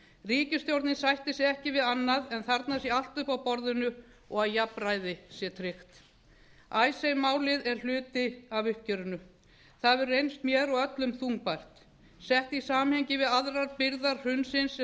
ríkisstjórnin sættir sig ekki við annað en að þarna sé allt uppi á borðinu og að jafnræði sé tryggt icesave málið er hluti af uppgjörinu það hefur reynst mér og öllum þungbært sett í samhengi við aðrar byrðar hrunsins sem